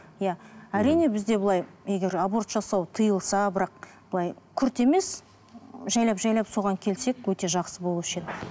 иә әрине бізде былай егер аборт жасау тиылса бірақ былай күрт емес жайлап жайлап соған келсек өте жақсы болушы еді